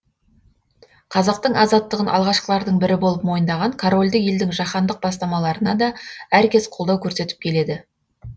қазақтың азаттығын алғашқылардың бірі болып мойындаған корольдік елдің жаһандық бастамаларына да әркез қолдау көрсетіп келеді